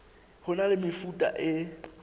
ho na le mefuta e